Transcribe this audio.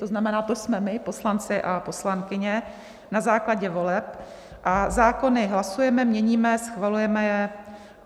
To znamená, to jsme my, poslanci a poslankyně na základě voleb, a zákony hlasujeme, měníme, schvalujeme je.